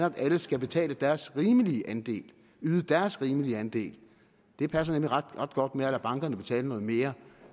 at alle skal betale deres rimelige andel yde deres rimelige andel det passer nemlig ret godt med at lade bankerne betale noget mere